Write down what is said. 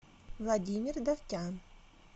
владимир давтян